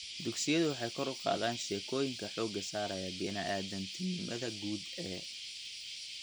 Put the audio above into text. Dugsiyadu waxay kor u qaadaan sheekooyinka xoogga saaraya bini'aadantinimada guud ee .